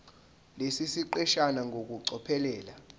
lesi siqeshana ngokucophelela